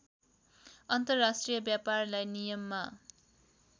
अन्तर्राष्ट्रिय व्यापारलाई नियममा